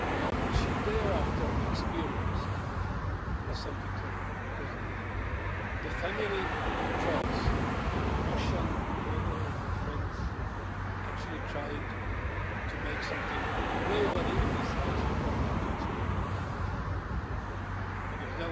What she experienced thereafter was something terrible because the family of trolls, Russian or their friends, actually tried to do something nobody in this House would like to experience, because